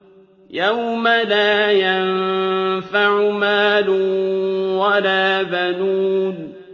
يَوْمَ لَا يَنفَعُ مَالٌ وَلَا بَنُونَ